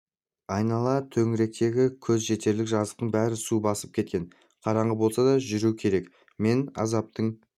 айнала төңіректегі көз жетерлік жазықтың бәрін су басып кеткен қараңғы болса да жүру керек мен азаптың